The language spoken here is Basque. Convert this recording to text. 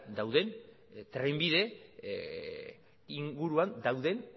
dauden trenbide inguruan dauden